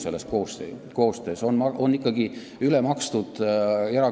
Varasema seaduse põhjal on erakoole ikkagi üle makstud.